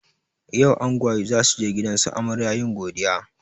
Yau angwaye zasuje gidansu amarya yin godiya